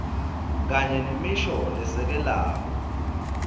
kanye nemisho lesekelako